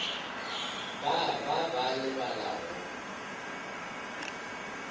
ba ba ba lebala go